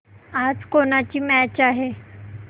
आज कोणाची मॅच आहे